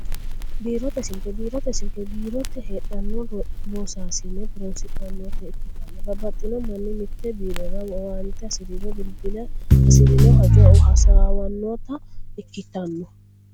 Biirote silke, biirote silike biirote heedhano loosasine horonsidhanotta ikkitanna babaxino mani mite biirorra owaante hasiriro bilibile hasirino hajo hasawanotta ikkitanno